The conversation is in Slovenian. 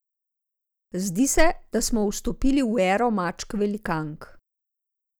Zdi se, da smo vstopili v ero mačk velikank.